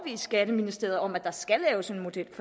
skatteministeriet om at der skal laves en model